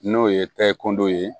N'o ye takindɔw ye